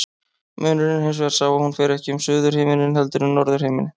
Munurinn er hins vegar sá að hún fer ekki um suðurhimininn heldur um norðurhimininn.